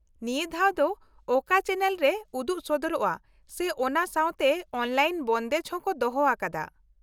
ᱱᱤᱭᱟᱹ ᱫᱷᱟᱣ ᱫᱚ ᱚᱠᱟ ᱪᱮᱱᱮᱞ ᱨᱮ ᱩᱫᱩᱜ ᱥᱚᱫᱚᱨᱚᱜᱼᱟ ᱥᱮ ᱚᱱᱟ ᱥᱟᱶᱛᱮ ᱚᱱᱞᱟᱤᱱ ᱵᱚᱱᱫᱮᱡ ᱦᱚᱸ ᱠᱚ ᱫᱚᱦᱚ ᱟᱠᱟᱫᱟ ?